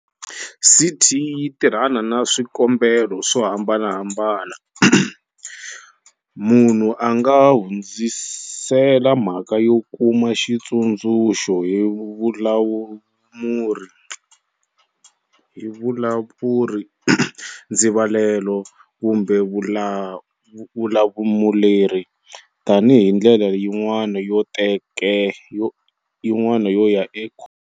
CT yi tirhana na swi kombelo swo hambanahambana. Munhu a nga hundzisela mhakayo kuma xitshunxo hi vulamuri, ndzivalelo kumbe vulamuleri, tanihi ndlela yin'wana yo ya ekhoto.